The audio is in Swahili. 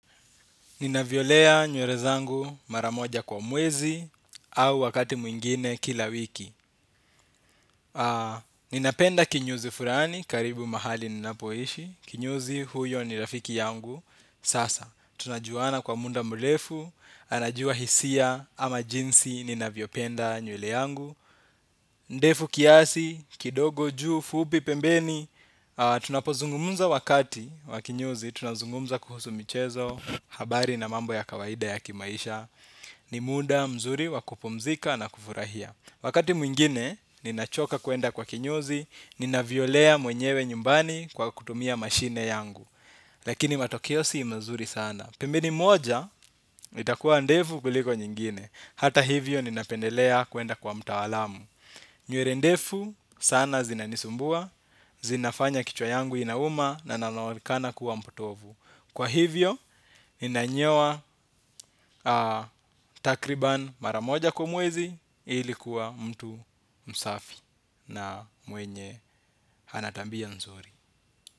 Ninavyolea nywere zangu mara moja kwa mwezi au wakati mwingine kila wiki. Ninapenda kinyozi furani karibu mahali ninapoishi. Kinyozi huyo ni rafiki yangu sasa. Tunajuana kwa muda mrefu. Anajua hisia ama jinsi ninavyopenda nywele yangu. Ndefu kiasi, kidogo juu, fupi pembeni. Tunapozungumuza wakati wa kinyozi. Tunazungumza kuhusu michezo, habari na mambo ya kawaida ya kimaisha. Ni muda mzuri wa kupumzika na kufurahia. Wakati mwingine, ninachoka kuenda kwa kinyozi. Ninavyolea mwenyewe nyumbani kwa kutumia mashine yangu. Lakini matokeo si mazuri sana. Pembeni moja, itakuwa ndefu kuliko nyingine. Hata hivyo ninapendelea kuenda kwa mtaalamu. Nywere ndefu sana zinanisumbua zinafanya kichwa yangu inauma na naonekana kuwa mpotovu. Kwa hivyo, ninanyoa takriban mara moja kwa mwezi ili kuwa mtu msafi na mwenye ana tabia nzuri.